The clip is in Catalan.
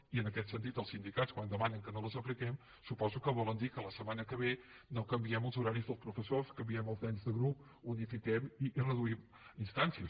i en aquest sentit els sindicats quan demanen que no les apliquem suposo que volen dir que la setmana que ve no canviem els horaris dels professors canviem els nens de grup que unifiquem i reduïm instàncies